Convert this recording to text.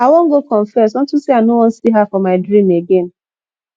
i wan go confess unto say i no wan see her for my dream again